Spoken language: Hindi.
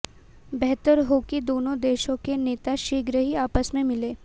बेहतर हो कि दोनों देशों के नेता शीघ्र ही आपस में मिलें